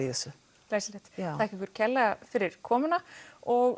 glæsilegt þakka ykkur kærlega fyrir komuna og